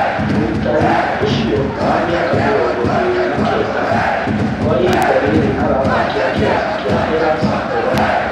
Mũitari ũcio wa mĩaka mĩrongo ĩĩrĩ na kenda kwa ihinda rĩrĩ arathakĩra kĩrabu kĩa Hellas Verona